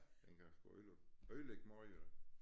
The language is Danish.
Den kan sgu øde ødelægge måj da